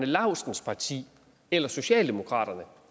laustsens parti eller socialdemokratiet